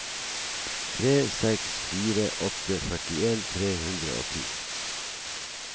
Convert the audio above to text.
tre seks fire åtte førtien tre hundre og ti